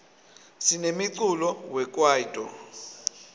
sinemiculo we kwaito